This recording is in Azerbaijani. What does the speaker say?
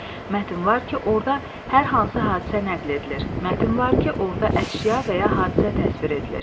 Mətn var ki, orda hər hansı hadisə nəql edilir, mətn var ki, orda əşya və ya hadisə təsvir edilir.